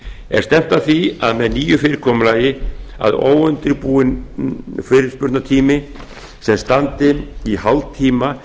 er stefnt að því með nýju fyrirkomulagi að óundirbúinn fyrirspurnatími sem standi í hálftíma